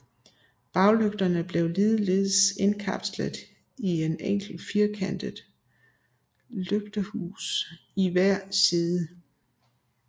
Baglygterne blev ligeledes indkapslet i et enkelt firkantet lygtehus i hver side